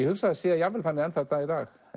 hugsa að það sé jafnvel þannig enn þann dag í dag